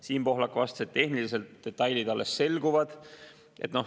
Siim Pohlak vastas, et tehnilised detailid alles selguvad.